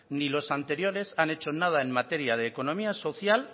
ni los anteriores han hecho nada en materia de economía social